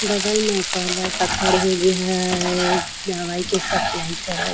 बगल में कौलर का खड़ हे जेहा दवाई के सप्लाई करत।